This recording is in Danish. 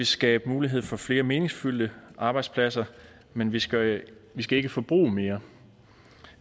skabe mulighed for flere meningsfyldte arbejdspladser men vi skal vi skal ikke forbruge mere